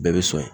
Bɛɛ bɛ sɔn